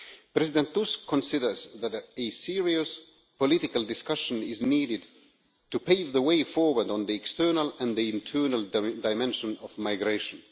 President Tusk considers that a serious political discussion is needed to pave the way forward on the external and the internal dimension of migration.